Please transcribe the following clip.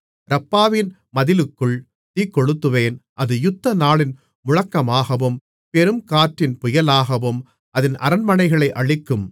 ரப்பாவின் மதிலுக்குள் தீக்கொளுத்துவேன் அது யுத்தநாளின் முழக்கமாகவும் பெருங்காற்றின் புயலாகவும் அதின் அரண்மனைகளை அழிக்கும்